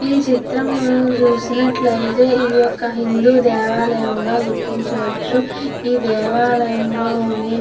ఈ చిత్రమును చూసినట్లయితే ఈయొక్క హిందూ దేవాలయముగ గుర్తించవచ్చు ఈ దేవాలయములోని --